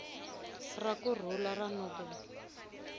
ra ku rhula ra nobel